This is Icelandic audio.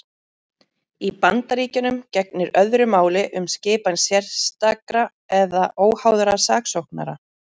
Í Bandaríkjunum gegnir öðru máli um skipan sérstakra eða óháðra saksóknara.